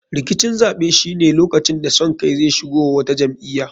Rikicin zaɓe shine lokacin da son kai zai shigo wa wata jam'iya.